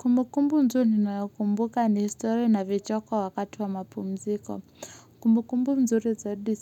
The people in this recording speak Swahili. Kumbukumbu tu ninayokumbuka ni story na vichoko wakati wa mapumziko Kumbukumbu nzuri zaidi